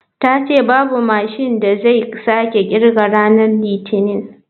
Ta ce babu mashin da zai sake kirga ranar litinin.